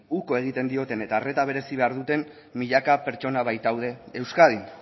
uko egiten dioten eta arreta berezi behar duten milaka pertsona baitaude euskadin